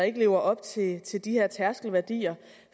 ikke lever op til til de her tærskelværdier